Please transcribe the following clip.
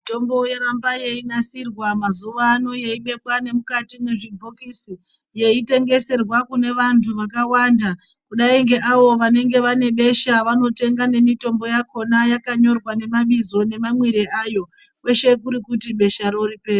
Mitombo yoramba yeinasirwa mazuwa ano yeibekwa nemukati mwezvibhokisi yeitengeserwa kune vantu vakawanda kadai ngeavo vanenge vane besha vanotenga nemitombo yakona yakanyorwa nemabizo nemamwire ayo, kweshe kuri kuti besharo ripere.